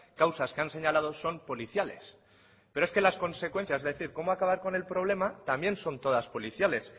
causas que han señalado son policiales pero es que las consecuencias es decir cómo acabar con el problema también son todas policiales